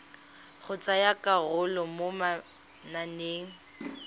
go tsaya karolo mo mananeng